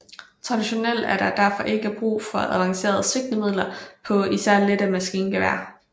Traditionelt er der derfor ikke brug for avancerede sigtemidler på især lette maskingeværer